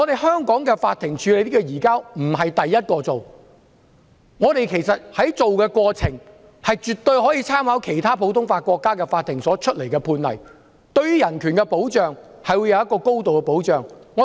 香港法庭並非最先處理移交逃犯的案件，處理案件時絕對可以參考其他普通法國家的法庭判例，對於人權會有高度的保障。